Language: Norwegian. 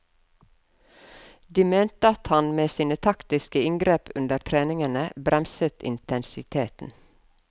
De mente at han med sine taktiske inngrep under treningene bremset intensiteten.